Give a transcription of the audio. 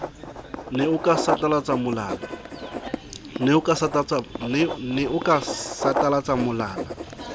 ne o ka satalatsa molala